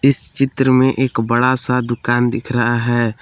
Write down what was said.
इस चित्र में एक बड़ा सा दुकान दिख रहा है।